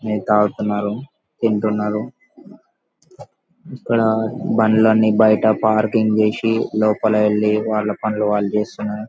నీళ్లు తాగుతున్నారుతిటున్నారు ఇక్కడ బళ్ళు అని బైట పార్కింగ్ చేసి లోపల వెళ్లి వాళ్ళ పాణిలు వాళ్ళు చేస్తున్నారు.